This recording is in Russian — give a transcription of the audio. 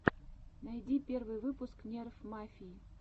найди первый выпуск нерф мафии